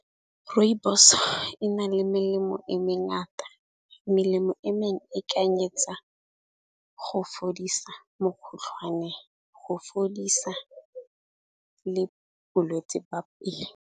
Rooibos-o e na le melemo e me ngata. Melemo e mengwe e kanyetsa go fodisa mokgotlhwane, go fodisa le bolwetsi ba pele.